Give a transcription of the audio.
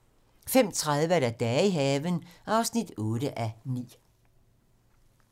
05:30: Dage i haven (8:9)